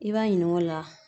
I b'a ɲining'o la